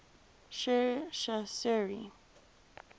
sher shah suri